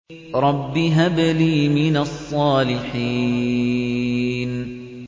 رَبِّ هَبْ لِي مِنَ الصَّالِحِينَ